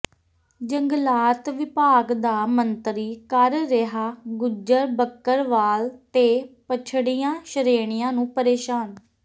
ਜੰਗਲਾਤ ਵਿਭਾਗ ਦਾ ਮੰਤਰੀ ਕਰ ਰਿਹਾ ਗੁੱਜਰ ਬਕਰਵਾਲ ਤੇ ਪਛੜੀਆਂ ਸ਼੍ਰੇਣੀਆਂ ਨੂੰ ਪ੍ਰੇਸ਼ਾਨ